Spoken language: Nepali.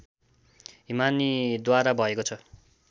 हिमानीद्वारा भएको छ